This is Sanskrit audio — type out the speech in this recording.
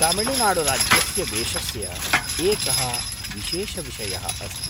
तमिळ्नाडुराज्यस्य वेषस्य एकः विशेषविषयः अस्ति।